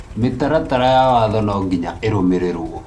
mĩtaratara ya waatho nonginya ĩrũmĩrĩrwo.